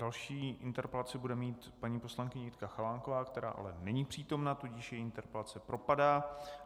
Další interpelaci bude mít paní poslankyně Jitka Chalánková, která ale není přítomna, tudíž její interpelace propadá.